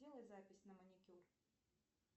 сделай запись на маникюр